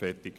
Fertig